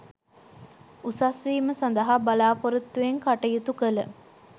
උසස් වීම සඳහා බලාපොරොත්තු වෙන් කටයුතු කළ